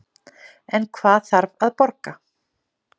En hvað þarf að borga